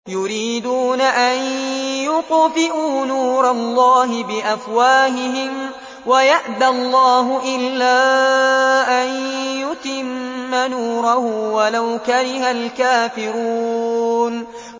يُرِيدُونَ أَن يُطْفِئُوا نُورَ اللَّهِ بِأَفْوَاهِهِمْ وَيَأْبَى اللَّهُ إِلَّا أَن يُتِمَّ نُورَهُ وَلَوْ كَرِهَ الْكَافِرُونَ